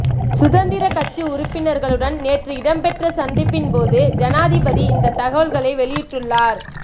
சுதந்திரக் கட்சி உறுப்பினர்களுடன் நேற்று இடம்பெற்ற சந்திப்பின் போது ஜனாதிபதி இந்தத் தகவல்களை வெளியிட்டுள்ளார்